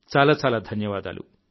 చాలా చాలా ధన్యవాదాలు